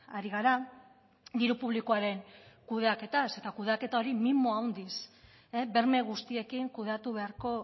ari gara diru publikoaren kudeaketaz eta kudeaketa hori mimo handiz berme guztiekin kudeatu beharko